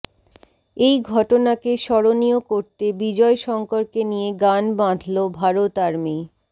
এই ঘটনাকে স্মরণীয় করতে বিজয় শঙ্করকে নিয়ে গান বাঁধল ভারত আর্মি